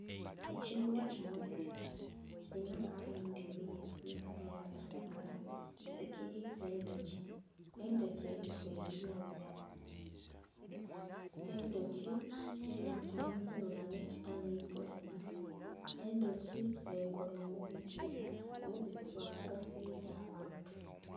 Ekimuli kimulisa kilinha kala endheru nhe kala eya kilagala kisikiliza endhoki, endhoki eriku ebyoya. Endhoki eidhye okuninha nekita nhi poleni, endhoki nhekola omubisi omubisi gwa mugaso eri abantu.